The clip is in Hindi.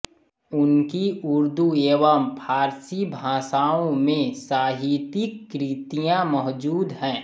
उनकी उर्दू एवं फ़ारसी भाषाओं में साहितिक कृतियां मौजूद हैं